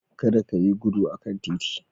Kada ki yi gudu a kan titi.